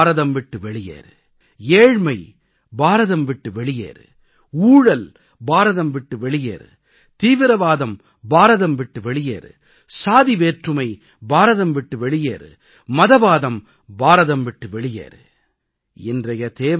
மாசு பாரதம் விட்டு வெளியேறு ஏழ்மை பாரதம் விட்டு வெளியேறு ஊழல் பாரதம் விட்டு வெளியேறு தீவிரவாதம் பாரதம் விட்டு வெளியேறு சாதி வேற்றுமை பாரதம் விட்டு வெளியேறு மதவாதம் பாரதம் விட்டு வெளியேறு